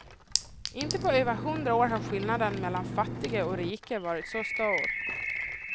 Inte på över hundra år har skillnaderna mellan fattiga och rika varit så stor.